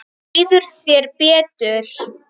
Þá líður þér betur.